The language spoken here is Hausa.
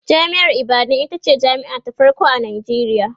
jami'ar ibadan itace jami'a ta farko a Nijeriya